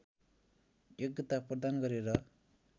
योग्यता प्रदान गरेर